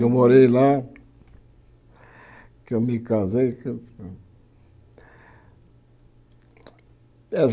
Eu morei lá, que eu me casei.